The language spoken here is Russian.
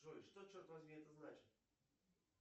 джой что черт возьми это значит